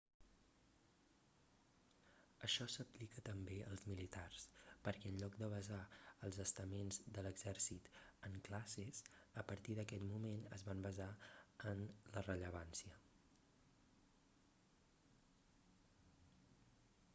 això s'aplica també als militars perquè en lloc de basar els estaments de l'exèrcit en classes a partir d'aquest moment es van basar en la rellevància